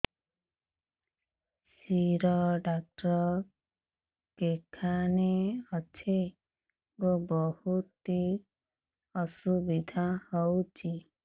ଶିର doctor କେଖାନେ ଅଛେ ଗୋ ବହୁତ୍ ଅସୁବିଧା ହଉଚି